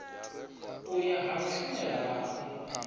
u ya ha vhashumelavhapo a